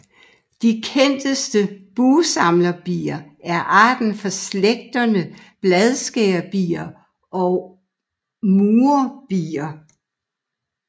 De kendteste bugsamlerbier er arter fra slægterne bladskærerbier og murerbier